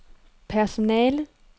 personalet